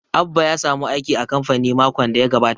Abba ya samu aiki a kamfani makon da ya gabata